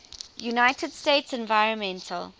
united states environmental